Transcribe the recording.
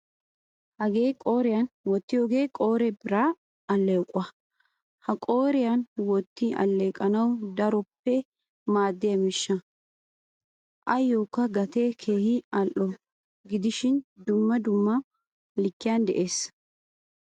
Hagee qooriyan wottiyo qoree biraa alleqquwaa. Hahaha qooriyan wottin alleqettanawu daroppe maadiyaa miishahaa. Ayokka a gattee keehin al"o gidishin dumma dumma likkiyan de"ees